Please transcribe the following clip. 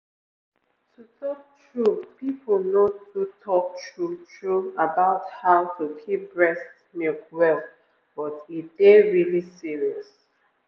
to talk true people no too talk true true about how how to keep breast milk well but e dey really serious.